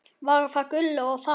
Var það Gullu að þakka.